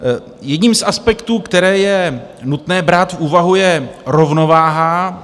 Jedním z aspektů, které je nutné brát v úvahu, je rovnováha.